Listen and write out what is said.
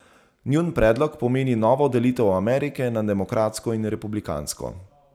Njun predlog pomeni novo delitev Amerike na demokratsko in republikansko.